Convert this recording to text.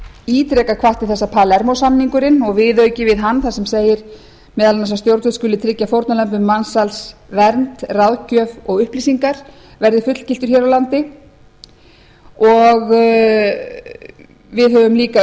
ítrekað hvatt til þess að palermo samningurinn og viðauki við hann þar sem segir meðal annars að stjórnvöld skuli tryggja fórnarlömbum mansals vernd ráðgjöf og upplýsingar verði fullgiltur hér á landi við höfum líka